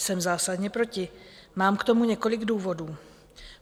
Jsem zásadně proti, mám k tomu několik důvodů.